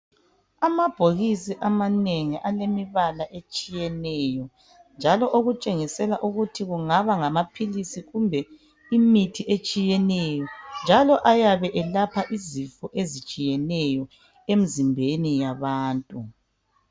Amabhokisi amanengi alemibala etshiyeneyo njalo okutshengisela ukuthi kungaba ngamaphilisi kumbe imithi etshiyeneyo njalo ayabe elapha izifo ezitshiyeneyo emzimbeni yabantu.